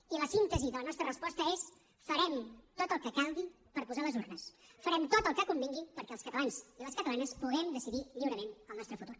i la síntesi de la nostra resposta és farem tot el que calgui per posar les urnes farem tot el que convingui perquè els catalans i les catalanes puguem decidir lliurament el nostre futur